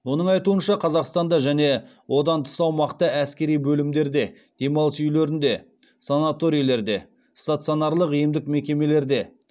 оның айтуынша қазақстанда және одан тыс аумақта әскери бөлімдерде демалыс үйлерінде санаторийлерде стационарлық емдік мекемелерде